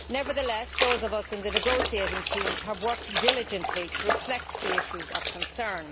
Nevertheless, those of us in the negotiating teams have worked diligently to reflect the issues of concern.